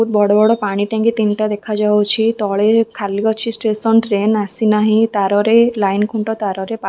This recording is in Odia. ବଡ଼ ବଡ ପାଣି ଟାଙ୍କି ତିନିଟା ଦେଖାଯାଉଛି ତଳେ ଖାଲି ଅଛି ଷ୍ଟେସନ୍ ଟ୍ରେନ ଆସି ନାହିଁ ତାରରେ ଲାଇନ୍ ଖୁଣ୍ଟ ତାରରେ ପା।